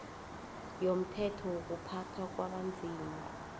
yomthetho wokuphathwa kwabanzima